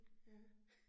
Ja